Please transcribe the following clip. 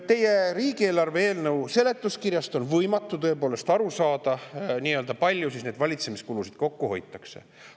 Teie riigieelarve eelnõu seletuskirjast on tõepoolest võimatu aru saada, kui palju siis valitsemiskulusid kokku hoitakse.